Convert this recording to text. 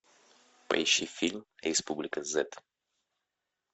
поищи фильм республика зет